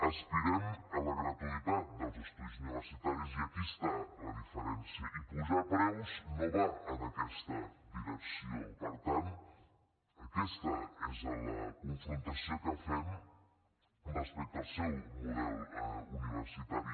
aspirem a la gratuïtat dels estudis universitaris i aquí està la diferència i apujar preus no va en aquesta direcció per tant aquesta és la confrontació que fem respecte al seu model universitari